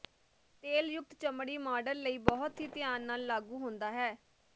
ਤੇਲਯੁਕਤ ਚਮੜੀ ਮਾਡਲ ਲਈ ਬਹੁਤ ਹੀ ਧਿਆਨ ਨਾਲ ਲਾਗੂ ਹੁੰਦਾ ਹੈ